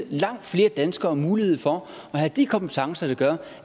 langt flere danskere mulighed for at have de kompetencer der gør